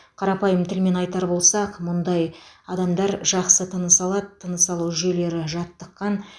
қарапайым тілмен айтар болсақ мұндай адамдар жақсы тыныс алады тыныс алу жүйелері жаттыққан